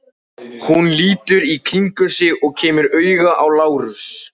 Hún lítur í kringum sig og kemur auga á Lárus.